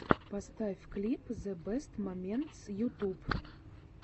поставь клип зэ бэст моментс ютуб